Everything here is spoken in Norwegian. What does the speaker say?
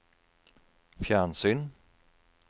fjernsyn